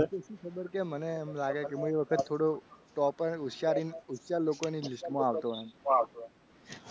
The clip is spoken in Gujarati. એટલે શું ખબર કે મને એમ લાગે કે મેં એ વખત થોડું topper હોશિયાર લોકોની list માં આવતો હોય.